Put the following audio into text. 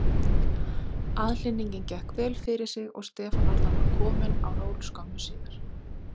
Aðhlynningin gekk vel fyrir sig og Stefán Arnar var kominn á ról skömmu síðar.